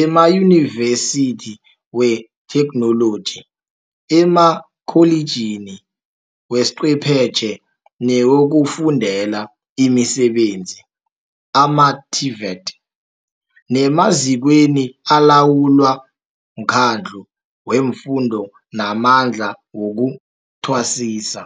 emaYunivesithi weThekhnoloji, emaKholiji weChwephetjhe newokuFundela imiSebenzi, ama-TVET, nemazikweni alawulwa mKhandlu weFundo naMandla wokuThwasisa.